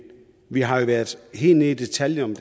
vi har været helt nede i detaljerne